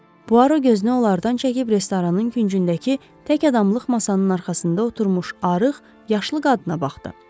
Puaro gözünü onlardan çəkib restoranın küncündəki tək adamlıq masanın arxasında oturmuş arıq yaşlı qadına baxdı.